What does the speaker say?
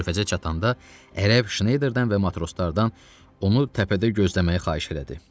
Körfəzə çatanda ərəb Şneyderdən və matroslardan onu təpədə gözləməyi xahiş elədi.